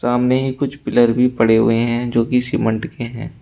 सामने ही कुछ पिलर भी पड़े हुए हैं जो की सीमेंट के हैं।